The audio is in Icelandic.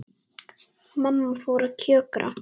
Mamma fór að kjökra.